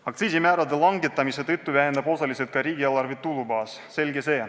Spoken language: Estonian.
Aktsiisimäärade langetamise tõttu väheneb ka riigieelarve tulubaas, selge see.